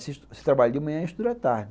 Aí você trabalha de manhã e estuda à tarde.